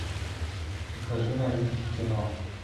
покажи новинки кино